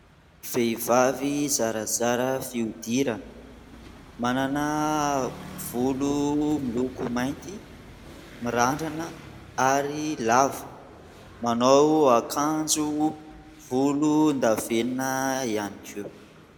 Vehivavy zarazara fiodirana, manana volo miloko mainty, mirandrana ary lava. Manao akanjo volondavenina ihany koa.